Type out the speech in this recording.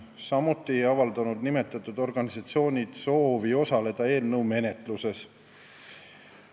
Samuti ei avaldanud nimetatud organisatsioonid soovi osaleda eelnõu menetluses.